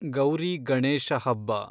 ಗೌರಿ ಗಣೇಶ ಹಬ್ಬ